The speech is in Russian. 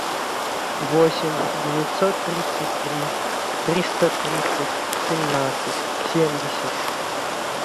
восемь девятьсот тридцать три триста тридцать семнадцать семьдесят